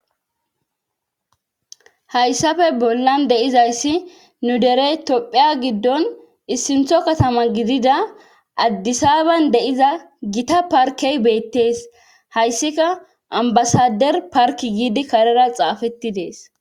hayssafe bollan deizayssi nu derey tophiya giddon issintho katama gidida addisaban deiza gita parkey beettees hayssika ambasader park giidi karera xaafetti dees